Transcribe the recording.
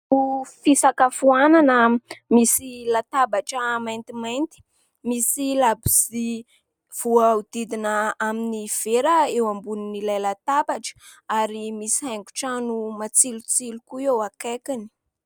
...Fisakafoanana misy latabatra maintimainty, misy labozia voahodidina amin'ny vera eo ambonin'ilay latabatra ary misy haingotrano matsilotsilo koa eo akaikiny.